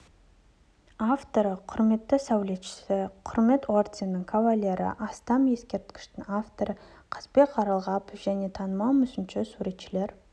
авторы құрметті сәулетшісі құрмет орденінің кавалері астам ескерткіштің авторы қазбек жарылғапов және танымал мүсінші суретшілер